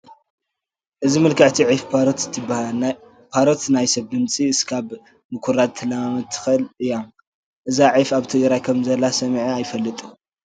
እዚ ምልክዕቲ ዒፍ ፓሮት ትበሃል፡፡ ፓሮት ናይ ሰብ ድምፂ እስካብ ምኹራጅ ክትለማመድ ትኽእል እያ፡፡ እዛ ዒፍ ኣብ ትግራይ ከምዘላ ሰሚዐ ኣይፈልጥን፡፡